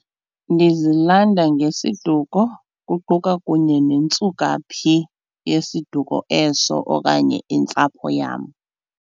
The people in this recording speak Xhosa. Ndizilanda ngesiduko kuquka kunye nentsukaphi yesiduko eso okanye intsapho yam.